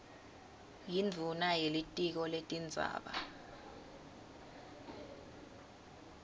yindvuna yelitiko letindzaba